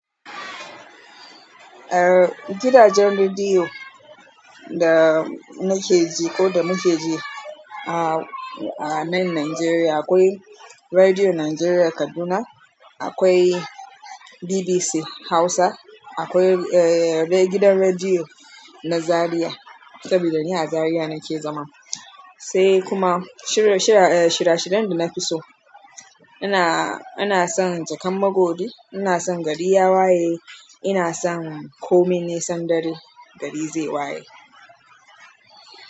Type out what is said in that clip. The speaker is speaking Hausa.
Eh, gidajen rediyo da nake ji ko da mu ke ji a, a nan Najeriya akwai Rediyo Najeriya Kaduna, akwai BBC Hausa, akwai eh, gidan rediyo na Zariya saboda ni a Zariya nake zama. Sai kuma shira, shira, eh, shira-shirun da na fi so ina, ina son Jakan Magodi, ina son gari ya waye, ina son komai nisan dare gari zai waye.